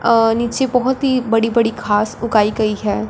अह नीचे बहुत ही बड़ी बड़ी घास उगाई गई है।